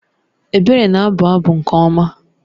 Ebere na-abụ abụ nke ọma